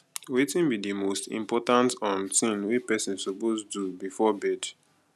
wetin be di most important um thing wey pesin suppose do before bed